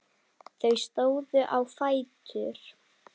Þau stóðu á fætur.